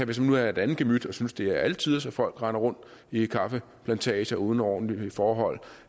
hvis man nu er et andet gemyt og synes det er alle tiders at folk render rundt i kaffeplantager uden ordentlige forhold